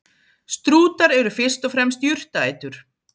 Strútar eru fyrst og fremst jurtaætur.